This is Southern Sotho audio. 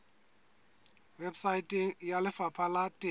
weposaeteng ya lefapha la temo